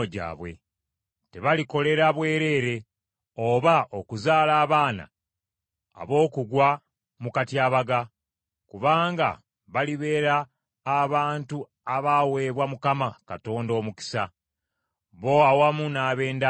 Tebalikolera bwereere oba okuzaala abaana ab’okugwa mu katyabaga, kubanga balibeera abantu abaweebwa Mukama Katonda omukisa, bo awamu n’ab’enda yaabwe.